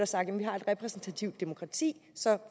sagt at vi har et repræsentativt demokrati så